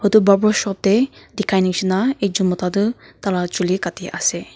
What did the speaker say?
Etu barber shop tey dekhai neshna ekjun mota toh taila chuli kati ase.